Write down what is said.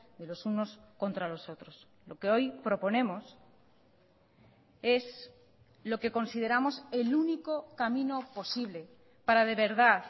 de los unos contra los otros lo que hoy proponemos es lo que consideramos el único camino posible para de verdad